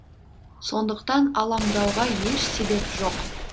сондықтан алаңдауға еш себеп жоқ